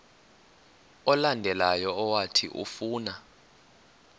olandelayo owathi ufuna